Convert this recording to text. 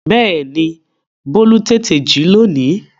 Bẹ́ẹ̀ni Bólú tètè jí lónìí